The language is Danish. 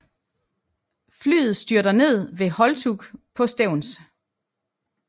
Flyet styrter ned ved Holtug på Stevns